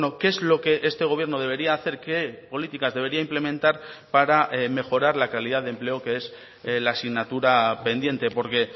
qué es lo que este gobierno debería hacer qué políticas debería implementar para mejorar la calidad de empleo que es la asignatura pendiente porque